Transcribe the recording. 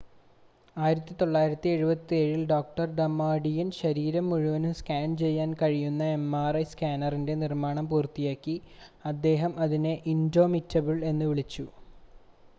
"1977-ൽ doctor Damadian ശരീരം മുഴുവനും scan ചെയ്യാൻ കഴിയുന്ന mri സ്കാനറിൻറ്റെ നിർമ്മാണം പൂർത്തിയാക്കി അദ്ദേഹം അതിനെ "ഇൻഡോമിറ്റബിൾ" എന്ന് വിളിച്ചു.